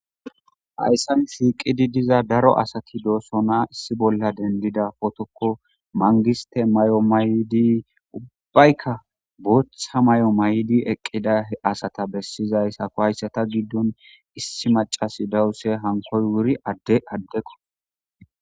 Hayssan siiqidi diza daro asati doosona issi bolla dendida pootokko mangiste may'o mayydi ubbaykka bootha mayo may'idi eqqida h asata bessizayssako hayssata giddon issi macasi dawuse hankkoy wuri adde addekko.